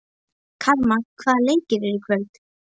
Karma, hvaða leikir eru í kvöld?